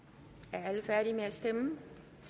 er alle færdige med at stemme